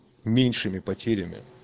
меньшими потерями